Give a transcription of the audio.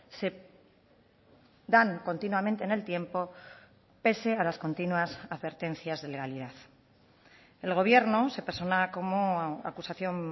se dan continuamente en el tiempo pese a las continuas advertencias de legalidad el gobierno se persona como acusación